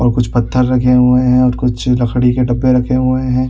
और कुछ पत्थर रखे हुए हैं और किसी लकड़ी के डब्बे रखे हुए हैं।